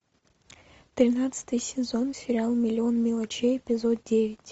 тринадцатый сезон сериал миллион мелочей эпизод девять